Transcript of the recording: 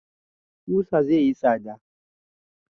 Ƙusa zai yi tsada